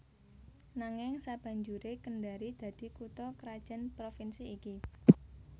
Nanging sabanjuré Kendari dadi kutha krajan Provinsi iki